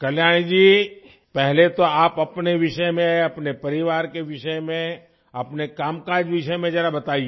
कल्याणी जी पहले तो आप अपने विषय में अपने परिवार के विषय में अपने कामकाज विषय में जरा बताइए